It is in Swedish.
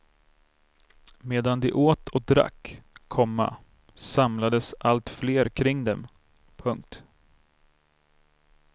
Medan de åt och drack, komma samlades allt fler kring dem. punkt